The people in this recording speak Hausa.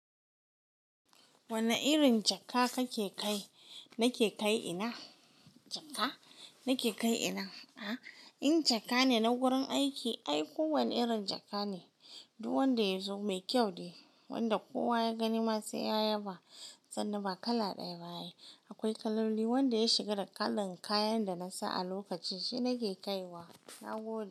Wane irin jaka kake kai? Nake kai ina? Jaka? Nake kai ina? A? In jaka ne na wurin aiki ai kowane irin jaka ne, duk wanda ya zo mai kyau ne. Wanda kowa ya gani ma sai ya yaba. Sannan ba kala ɗaya ba, akwai kaloli. Wanda ya shiga da kalan kayan da nasa a lokaci shine nake kai wa. Na gode.